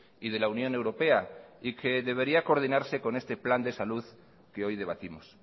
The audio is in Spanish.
y de la unión europea y que debería coordinarse con este plan de salud que hoy debatimos